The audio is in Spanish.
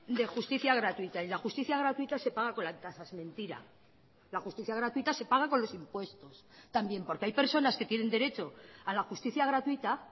de justicia gratuita y la justicia gratuita se paga con las tasas mentira la justicia gratuita se paga con los impuestos también porque hay personas que tienen derecho a la justicia gratuita